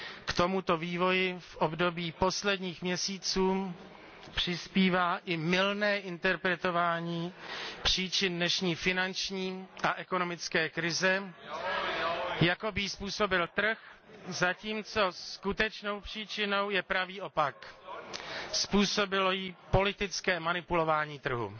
K tomuto vývoji v období posledních měsíců přispívá i mylné interpretování příčin dnešní finanční a ekonomické krize, jakoby ji způsobil trh, zatímco skutečnou příčinou je pravý opak, způsobilo ji politické manipulování trhu.